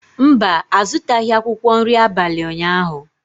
Mba, a zụtaghị akwụkwọ nri abalị ụnyahụ.